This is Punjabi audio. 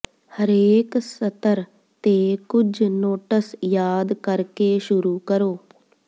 ਹਰੇਕ ਸਤਰ ਤੇ ਕੁਝ ਨੋਟਸ ਯਾਦ ਕਰਕੇ ਸ਼ੁਰੂ ਕਰੋ